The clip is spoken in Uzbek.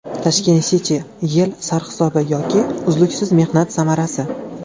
Tashkent City: Yil sarhisobi yoki uzluksiz mehnat samarasi.